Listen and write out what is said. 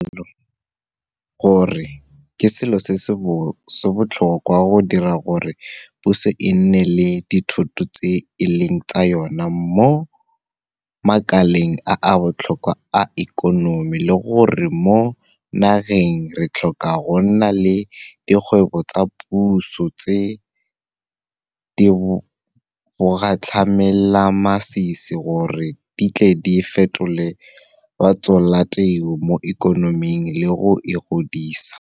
Re dumela ka botlalo gore ke selo se se botlhokwa go dira gore puso e nne le dithoto tseo e leng tsa yona mo makaleng a a botlhokwa a ikonomi le gore mo nageng re tlhoka go nna le dikgwebo tsa puso tse di bogatlhamelamasisi gore di tle di fetole batsholateu mo ikonoming le go e godisa.